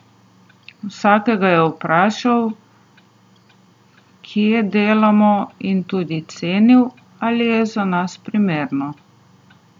Vsakega je vprašal, kje delamo in tudi ocenil, ali je za nas primerno.